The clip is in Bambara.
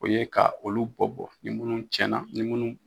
O ye ka olu bɔ bɔ ni minnu cɛnna ni minnu